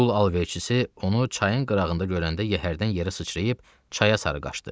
Qul alverçisi onu çayın qırağında görəndə yəhərdən yerə sıçrayıb çaya sarı qaçdı.